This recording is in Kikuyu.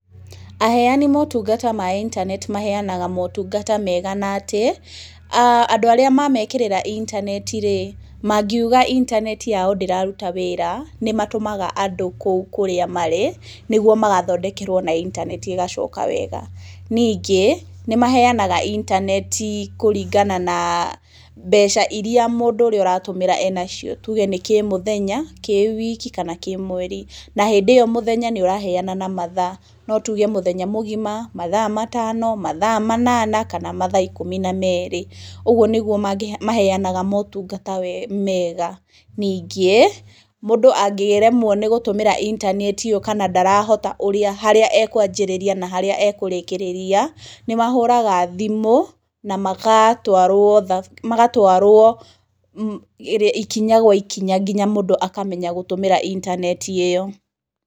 Aheani motungata ma intaneti maheanaga motungata mega na atĩ, andu arĩa mamekĩrĩra intaneti rĩ, mangiuga intaneti yao ndĩraruta wĩra nĩ matũmaga andũ kũu kũrĩa marĩ, nĩguo magathondekerwo na intaneti ĩgacoka wega. Ningĩ nĩ maheanaga intaneti kũringana na mbeca irĩa mũndũ ũrĩa aratũmĩra enacio, tuge nĩ kĩmũthenya, kĩwiki kana kĩmweri, na hĩndĩ ĩyo mũthenya nĩ ũraheana na mathaa no tuge mũthenya mũgima, mathaa matano, mathaa manana kana mathaa ikũmi na merĩ, ũguo nĩguo maheanaga motungata mega. Ningĩ, mũndũ angĩremwo nĩ gũtũmĩra intaneti ĩyo kana ndarahota harĩa akũanjĩrĩria kana harĩa ekũrĩkĩrĩria, nĩ mahũraga thimũ na magatwarwo magatwarwo ikinya gwa ikinya nginya mũndũ akamenya gũtũmĩra intaneti ĩyo.